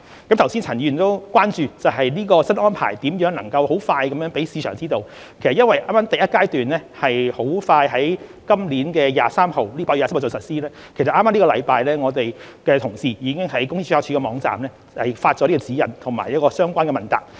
剛才陳振英議員亦關注，新安排如何能很快讓市場知道，其實因為第一階段快將於今年8月23日實施，剛剛這星期我們的同事已於公司註冊處的網站發出這指引和相關問答。